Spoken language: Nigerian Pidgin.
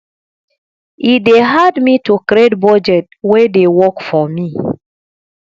e dey hard me to create budget wey dey work for me